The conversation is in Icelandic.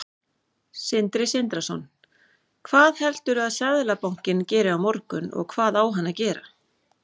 Sindri Sindrason: Hvað heldurðu að Seðlabankinn geri á morgun, og hvað á hann að gera?